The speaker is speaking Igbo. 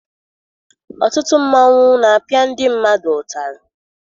Ọtụtụ mmanwụ na-apịa ndị mmadụ ụtarị.